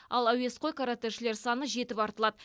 ал әуесқой каратэшілер саны жетіп артылады